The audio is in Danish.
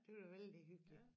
Det var da vældig hyggeligt